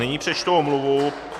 Nyní přečtu omluvu.